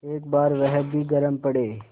एक बार वह भी गरम पड़े